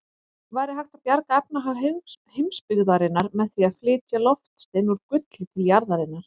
Væri hægt að bjarga efnahag heimsbyggðarinnar með því að flytja loftstein úr gulli til jarðarinnar?